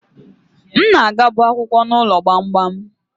M na-agabu akwukwo n'ụlọ gbamgbam